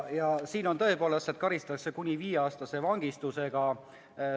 Ja siin on tõepoolest, et karistatakse kuni viieaastase vangistusega.